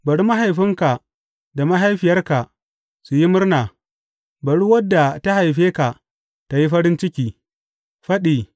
Bari mahaifinka da mahaifiyarka su yi murna; bari wadda ta haife ka tă yi farin ciki!